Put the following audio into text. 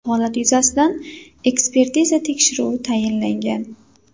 Holat yuzasidan ekspertiza tekshiruvi tayinlangan.